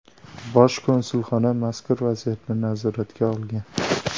Bosh konsulxona mazkur vaziyatni nazoratga olgan.